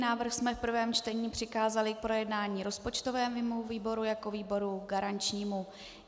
Návrh jsme v prvém čtení přikázali k projednání rozpočtovému výboru jako výboru garančnímu.